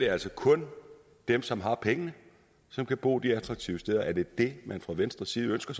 altså kun dem som har pengene som kan bo de attraktive steder er det det man fra venstres side ønsker